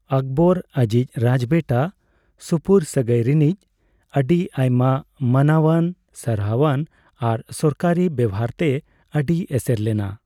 ᱚᱠᱵᱚᱨ ᱟᱹᱡᱤᱡ ᱨᱟᱡᱽᱵᱮᱴᱟ ᱥᱩᱯᱩᱨᱥᱟᱜᱟᱹᱭ ᱨᱤᱱᱤᱡ ᱟᱹᱰᱤᱟᱭᱢᱟ ᱢᱟᱱᱟᱣᱟᱱ, ᱥᱟᱨᱦᱟᱣᱟᱱ ᱟᱨ ᱥᱚᱨᱠᱟᱨᱤ ᱵᱮᱵᱦᱟᱨ ᱛᱮ ᱟᱹᱰᱤ ᱮᱥᱮᱨ ᱞᱮᱱᱟ᱾